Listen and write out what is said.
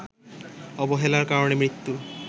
অবহেলার কারণে মৃত্যুর